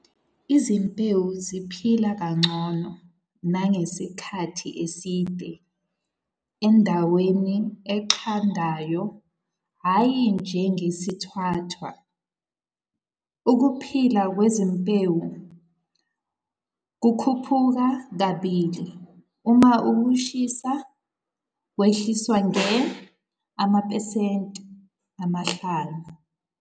Izimbewu ziphila kangcono nangesikhathi eside endaweni eqandayo, hhayi njengesithwathwa. Ukuphila kwezimbewu kukhuphuka kabili uma ukushisa kwehliswa nge amaphesenti ama-5.